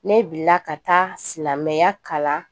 Ne bila ka taa silamɛya kalan